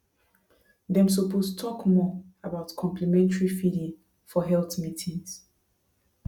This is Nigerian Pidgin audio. dem suppose talk more about complementary feeding for health meetings